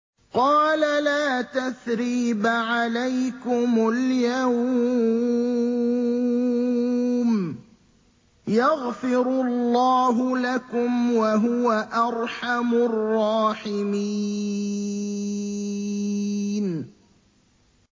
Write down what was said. قَالَ لَا تَثْرِيبَ عَلَيْكُمُ الْيَوْمَ ۖ يَغْفِرُ اللَّهُ لَكُمْ ۖ وَهُوَ أَرْحَمُ الرَّاحِمِينَ